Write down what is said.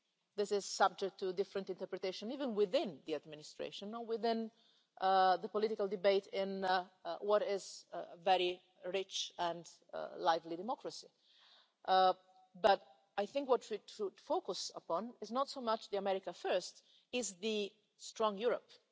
This is subject to different interpretations even within the Administration or within the political debate in what is a very rich and lively democracy, but I think what we should focus upon is not so much America First' as Strong Europe'.